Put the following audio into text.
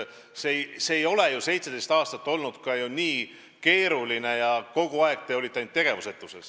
See ei ole ju 17 aastat nii keeruline olnud, aga kogu aeg te olite tegevusetud.